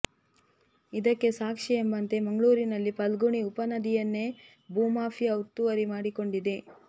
ಇದಕ್ಕೆ ಸಾಕ್ಷಿ ಎಂಬಂತೆ ಮಂಗಳೂರಿನಲ್ಲಿ ಫಲ್ಗುಣಿ ಉಪ ನದಿಯನ್ನೇ ಭೂ ಮಾಫಿಯಾ ಒತ್ತುವರಿ ಮಾಡಿಕೊಂಡಿದೆ